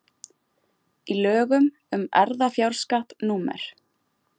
í lögum um erfðafjárskatt númer